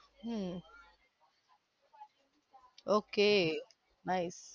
hmm okay nice